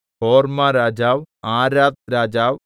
ഹോർമ്മരാജാവ് ആരാദ്‌രാജാവ്